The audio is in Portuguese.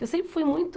Eu sempre fui muito...